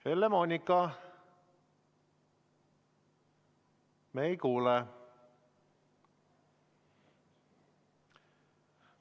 Helle-Moonika, me ei kuule.